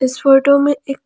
इस फोटो में एक--